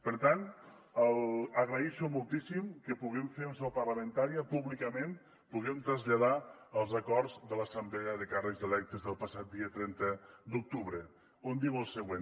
per tant agraeixo moltíssim que puguem fer en seu parlamentària públicament que puguem traslladar els acords de l’assemblea de càrrecs electes del passat dia trenta d’octubre on es diu el següent